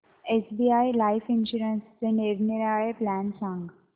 SBI life इन्शुरन्सचे निरनिराळे plan सांग